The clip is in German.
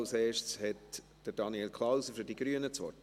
Zuerst hat Daniel Klauser für die Grünen das Wort.